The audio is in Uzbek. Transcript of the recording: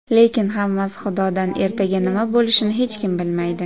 Lekin hammasi Xudodan ertaga nima bo‘lishini hech kim bilmaydi.